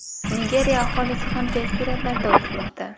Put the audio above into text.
Nigeriya aholisi ham tez sur’atlarda o‘smoqda.